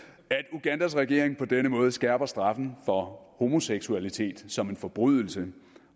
ugandas regering på denne måde skærper straffen for homoseksualitet som en forbrydelse